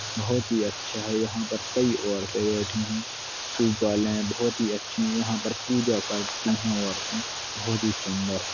बहुत ही अच्छा है यहाँ पर कई औरतें बैठीं हैं सूप आलें हैं बहुत ही अच्छी हैं यहाँ पर पूजा करती हैं औरतें बहुत ही सुन्दर है।